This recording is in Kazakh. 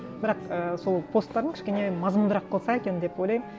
бірақ і сол посттарың кішкене мазмұндырақ қылса екен деп ойлаймын